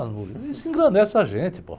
Ah, uh, isso engrandece a gente, pô.